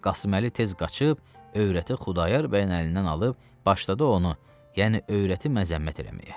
Qasım Əli tez qaçıb övrəti Xudayar bəyin əlindən alıb başladı onu, yəni övrəti məzəmmət eləməyə.